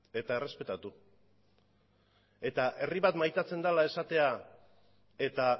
eta errespetatu eta herri bat maitatzen dela esatea eta